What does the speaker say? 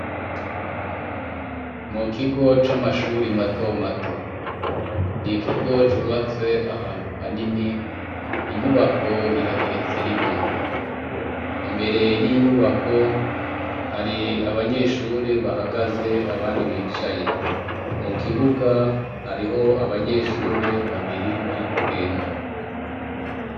Mukigo c'amashure mato mato, n'ikigo cubatswe ahantu hanini, inyubako irageretse rimwe, imbere y'inyubako hari abanyeshuri bahagaze abandi bicaye, mukibuga hariho abanyeshure babiri bari kugenda.